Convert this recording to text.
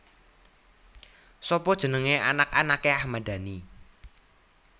Sapa jenenge anak anake Ahmad Dhani